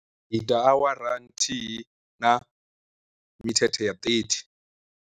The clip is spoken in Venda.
Ndi ita awara nthihi na mithethe ya ṱethi.